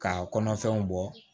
K'a kɔnɔfɛnw bɔ